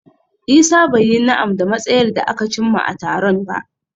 Isah bai yi na'am da matsayar da aka cimma a taron ba.